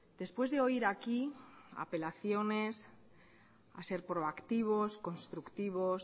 después de oír aquí apelaciones a ser proactivos constructivos